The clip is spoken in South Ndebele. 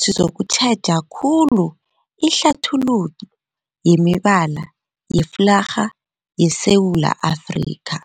sizokutjheja khulu ihlathululo yemibala yeflarha yeSewula Afrika.